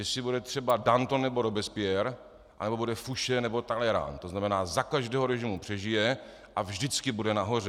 Jestli bude třeba Danton nebo Robespierre, anebo bude Fouché nebo Talleyrand, to znamená - za každého režimu přežije a vždycky bude nahoře.